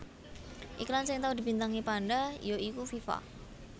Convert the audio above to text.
Iklan sing tau dibintangi panda ya iku Viva